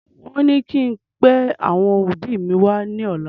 Wón ní kí n pẹ àwọn òbí mi wá ní ọ̀la